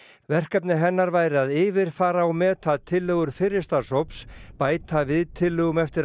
verkefni hennar væri að yfirfara og meta tillögur fyrri starfshóps bæta við tillögum eftir